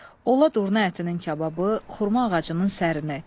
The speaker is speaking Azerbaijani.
Ola durna ətinin kababı, xurma ağacının sərini.